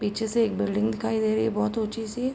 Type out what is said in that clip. पीछे से एक बिल्डिंग दिखाई दे रही है बहोत ऊंची सी।